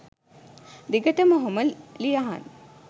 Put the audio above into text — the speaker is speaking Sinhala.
දිගටම ඔහොම ලියහන්